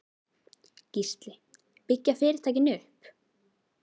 Gísli: Byggja fyrirtækin upp?